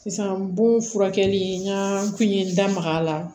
Sisan bon furakɛli n ka kun ye n da maga a la